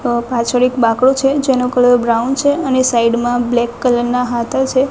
અ પાછળ એક બાકડો છે જેનો કલર બ્રાઉન છે અને સાઈડ માં બ્લેક કલર ના હાથા છે.